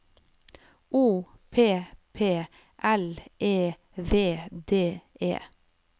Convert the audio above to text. O P P L E V D E